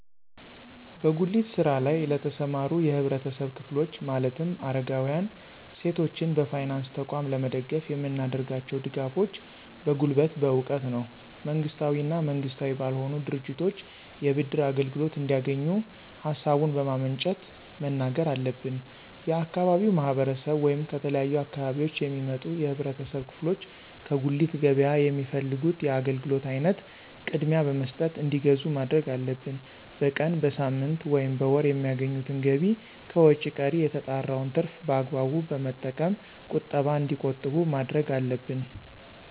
በጉሊት ስራ ለይ ለተሰማሩ የህብረተሰብ ክፍሎች ማለትም አረጋውያን፣ ሴቶችን በፋይናንስ ተቋም ለመደገፍ የምናደርጋቸው ድጋፎች በጉልበት፣ በእውቀት ነው። መንግስታዊ እና መንግስታዊ ባልሆኑ ድርጅቶች የብድር አገልግሎት እንዲያገኙ ሀሳቡን በማመንጨት መናገር አለብን። የአካባቢው ማህረሰብ ወይም ከተለያዩ አካባቢዎች የሚመጡ የህብረተሰብ ክፍሎች ከጉሊት ገበያ የሚፈልጉት የአገልግሎት አይነት ቅድሚያ በመስጠት እንዲገዙ ማድረግ አለብን። በቀን፣ በሳምንት፣ ወይም በወር የሚያገኙትን ገቢ ከወጭ ቀሪ የተጣራውን ትርፍ በአግባቡ በመጠቀም ቁጠባ እንዲቆጥቡ ማድረግ አለብን።